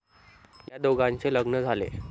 या दोघांचे लग्न झाले.